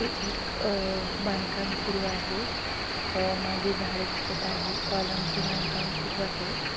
हे एक अह बांधकाम सुरू आहे. अह मागे झाडे दिसत आहे कॉलम चे बांधकाम सुरू आहे.